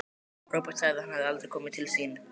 Róbert sagði að hann hefði aldrei komið til sín.